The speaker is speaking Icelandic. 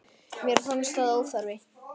Mér fannst það óþarfi.